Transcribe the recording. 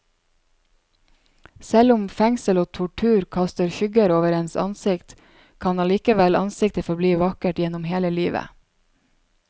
Selv om fengsel og tortur kaster skygger over ens ansikt, kan allikevel ansiktet forbli vakkert gjennom hele livet.